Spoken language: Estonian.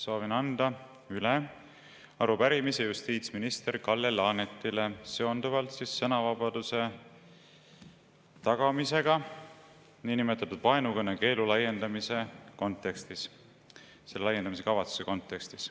Soovin anda üle arupärimise justiitsminister Kalle Laanetile seonduvalt sõnavabaduse tagamisega kavatsetava niinimetatud vaenukõne keelu laiendamise kontekstis.